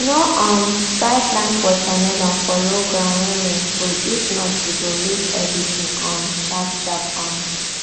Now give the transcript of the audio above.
no um try plant watermelon for low ground when rain full if not you go lose everything um sharpsharp um